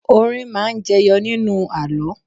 Orin máa ń jẹyọ nínú àlọ́